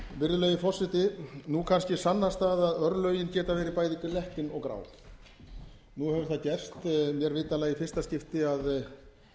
virðulegi formi nú kannski sannast það að örlögin geta verið bæði glettin og grá nú hefur það gerst mér vitanlega í fyrsta skipti að